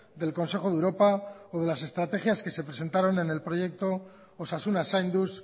del consejo de europa o de las estrategias que se presentaron en el proyecto osasuna zainduz